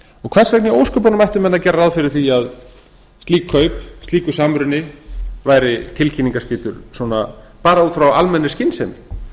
hvers vegna í ósköpunum ættu menn að gera ráð fyrir því að slík kaup slíkur samruni væri tilkynningaskyldur bara út frá almennri skynsemi